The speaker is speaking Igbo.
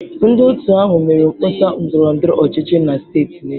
Ndị otu ahụ mere mkpọsa ndọrọ ndọrọ ọchịchị na steeti niile.